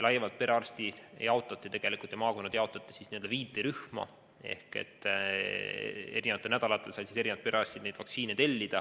Perearstid ja maakonnad jaotati n-ö viide rühma ning eri nädalatel said erinevad perearstid vaktsiine tellida.